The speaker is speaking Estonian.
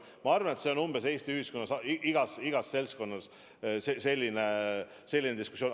Ma arvan, et Eesti ühiskonnas on igas seltskonnas umbes selline diskussioon.